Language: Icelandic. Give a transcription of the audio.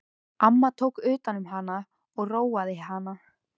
Amma tók utan um hana og róaði hana.